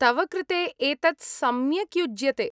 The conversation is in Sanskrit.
तव कृते एतत् सम्यक् युज्यते।